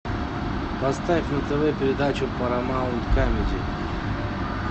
поставь на тв передачу парамаунт камеди